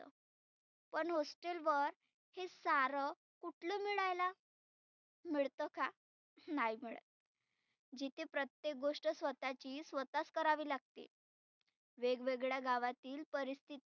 पण hostel वर हे सारं कुठलं मिळायला. मिळत का? नाही मिळत. जिथे प्रत्येक गोष्ट स्वतःची स्वतःच करावी लागते. वेग वेगळ्या गावातील परिस्थिती.